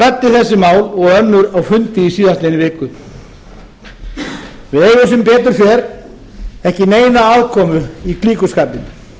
ræddi þessi mál og önnur á fundi í síðastliðnum viku við eigum sem betur fer ekki neina aðkomu í klíkuskapinn